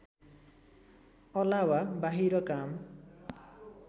अलावा बाहिर काम